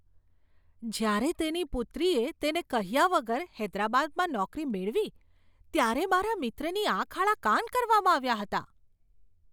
જ્યારે તેની પુત્રીએ તેને કહ્યા વગર હૈદરાબાદમાં નોકરી મેળવી ત્યારે મારા મિત્રની આંખ આડા કાન કરવામાં આવ્યા હતા.